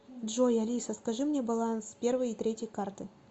джой алиса скажи мне баланс первой и третьей карты